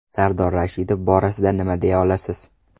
Sardor Rashidov borasida nima deya olasiz?